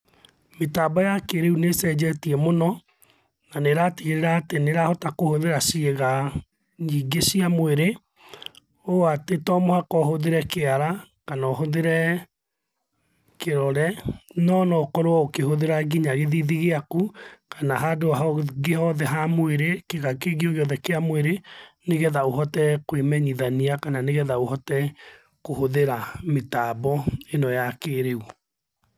Mĩtambo ya kĩrĩũ nĩcenjetie mũno na nĩratigĩrĩra atĩ nĩrahota kũhũthĩra ciĩga nyingĩ cia mwĩrĩ, ũũ atĩ to mũhaka ũhũthĩre kĩara kana ũhũthĩre kĩrore nono ũkorwo ũkĩhũthĩra nginya gĩthithi gĩakũ kana handũ hangĩ hothe ha mwĩrĩ, kĩga kĩngĩ gĩothe kĩa mwĩrĩ, nĩgetha ũhote kwĩmenyithania kana nĩgetha ũhote kũhũthĩra mĩtambo ĩno ya kĩrĩũ.